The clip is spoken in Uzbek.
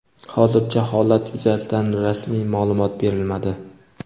Hozircha holat yuzasidan rasmiy maʼlumot berilmadi.